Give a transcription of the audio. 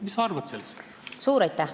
Mis sa arvad sellest?